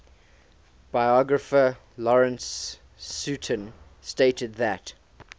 biographer lawrence sutin stated that